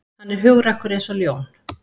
Hann er hugrakkur eins og ljón